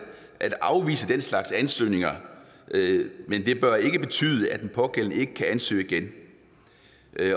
at afvise den slags ansøgninger og det bør ikke betyde at den pågældende ikke kan ansøge igen